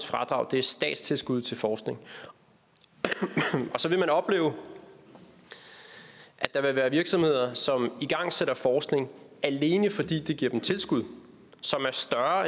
fradrag er statstilskud til forskning og så vil man opleve at der vil være virksomheder som igangsætter forskning alene fordi det giver dem tilskud som er større